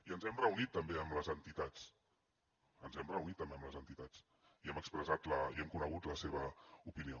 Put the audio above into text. i ens hem reunit també amb les entitats ens hem reunit també amb les entitats i hem conegut la seva opinió